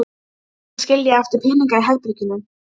Það var hægt að skilja eftir peninga í herberginu.